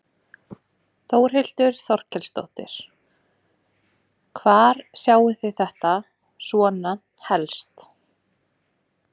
Þórhildur Þorkelsdóttir: Hvar sjáið þið þetta svona helst?